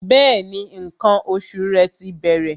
Bẹẹni, ǹkan oṣù rẹ ti bẹ̀rẹ̀